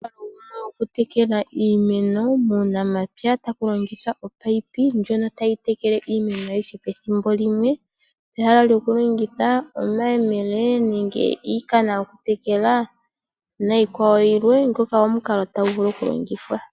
Okutekela iimeno muunamapya taku longithwa omunino ngono tagu tekele iimeno ayihe pethimbo limwe pehala lyoku longitha omayemele ,nenge iinima yoku tekela niikwawo yilwe. nhoka omukalo tagu vulu oku longithwa.